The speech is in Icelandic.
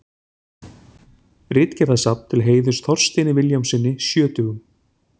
Ritgerðasafn til heiðurs Þorsteini Vilhjálmssyni sjötugum.